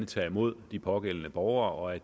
tager imod de pågældende borgere og at